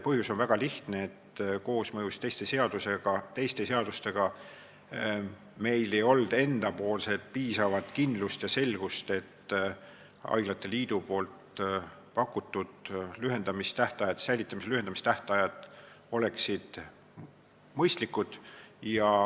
Põhjus on väga lihtne: arvestades koosmõju teiste seadustega ei olnud meil piisavat kindlust ja selgust, et haiglate liidu pakutud säilitamistähtaegade lühendamine oleks mõistlik.